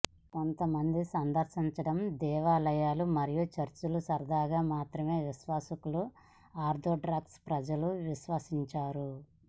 కొంతమంది సందర్శించడం దేవాలయాలు మరియు చర్చిలు సరదాగా మాత్రమే విశ్వాసకులు ఆర్థోడాక్స్ ప్రజలు విశ్వసించారు